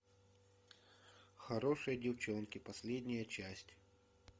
хорошие девчонки последняя часть